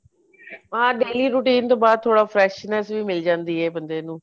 ਆ daily routine ਤੋਂ ਬਾਅਦ ਥੋੜਾ freshness ਵੀ ਮਿਲ ਜਾਂਦੀ ਏ ਬੰਦੇ ਨੂੰ